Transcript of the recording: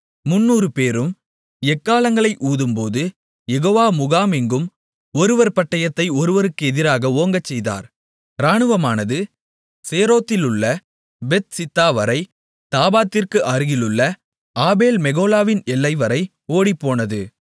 300 பேரும் எக்காளங்களை ஊதும்போது யெகோவா முகாமெங்கும் ஒருவர் பட்டயத்தை ஒருவருக்கு எதிராக ஓங்கச்செய்தார் ராணுவமானது சேரோத்திலுள்ள பெத்சித்தாவரை தாபாத்திற்கு அருகிலுள்ள ஆபேல் மெகொலாவின் எல்லைவரை ஓடிப்போனது